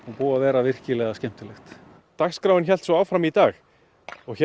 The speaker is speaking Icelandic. búið að vera virkilega skemmtilegt dagskráin hélt svo áfram í dag og hér